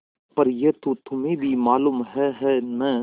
पर यह तो तुम्हें भी मालूम है है न